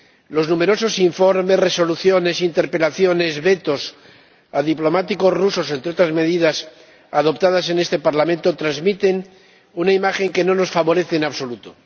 Los numerosos informes, resoluciones, interpelaciones, vetos a diplomáticos rusos, entre otras medidas adoptadas en este Parlamento, transmiten una imagen que no nos favorece en absoluto.